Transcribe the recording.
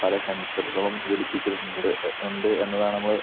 പല സെന്‍സറുകളും ഘടിപ്പിച്ചിട്ടുണ്ട് ഉണ്ട് എന്നതാണ് നമ്മള്